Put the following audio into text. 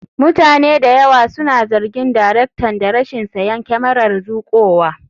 Mutane da yawa suna zargin daraktan da rashin siyan kyamarar zuƙowa.